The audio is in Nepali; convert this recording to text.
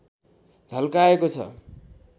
झल्काएको छ